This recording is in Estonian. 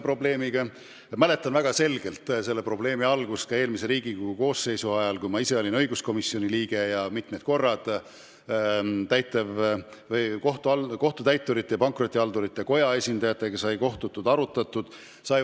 Ma mäletan väga selgelt selle probleemi tõstatamist eelmise Riigikogu koosseisu ajal, kui ma ise olin õiguskomisjoni liige ja mitmed korrad sai Kohtutäiturite ja Pankrotihaldurite Koja esindajatega kohtutud ja asja arutatud.